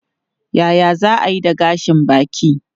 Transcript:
Yaya za a yi da gashin baki?